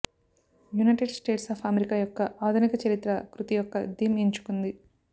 United states of America యొక్క ఆధునిక చరిత్ర కృతి యొక్క థీమ్ ఎంచుకుంది